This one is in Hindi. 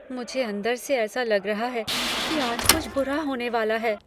मुझे अंदर से ऐसा लग रहा है कि आज कुछ बुरा होने वाला है।